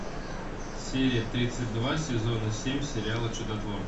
серия тридцать два сезона семь сериала чудотворцы